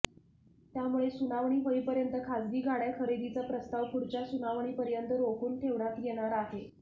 त्यामुळे सुनावणी होईपर्यंत खाजगी गाड्या खरेदीचा प्रस्ताव पुढच्या सुनावणीपर्यंत रोखून ठेवण्यात येणार आहे